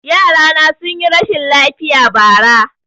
Yarana sun yi rashin lafiya bara